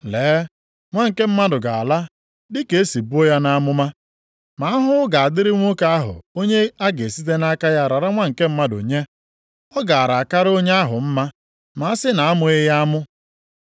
Lee Nwa nke Mmadụ ga-ala dị ka e si buo ya nʼamụma. Ma ahụhụ ga-adịrị nwoke ahụ onye a ga-esite nʼaka ya rara Nwa nke Mmadụ nye. Ọ gaara akara onye ahụ mma ma a sị na a mụghị ya amụ.”